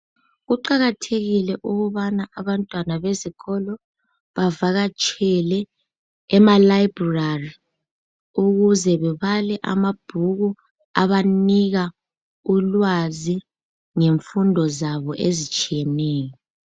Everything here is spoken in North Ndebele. Kuqakathekile ukubana abantwana bezikolo bevakatshele emalibrary ukuze babale amabhuku abanika ulwazi ngemfundo zabo ezitshiyeneyo